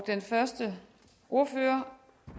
den første ordfører